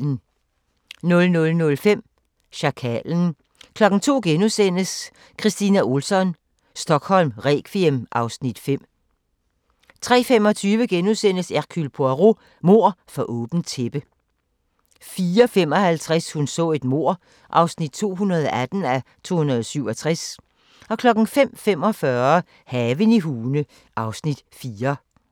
00:05: Sjakalen 02:00: Kristina Ohlsson: Stockholm requiem (Afs. 5)* 03:25: Hercule Poirot: Mord for åbent tæppe * 04:55: Hun så et mord (218:267) 05:45: Haven i Hune (Afs. 4)